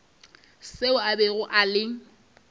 seo a bego a le